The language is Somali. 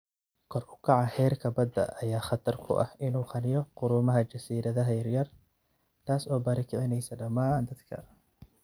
Kor u kaca heerka badaha ayaa khatar ku ah in uu qariyo quruumaha jasiiradaha yar yar, taas oo barakicinaysa dhammaan dadka.